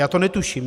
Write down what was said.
Já to netuším.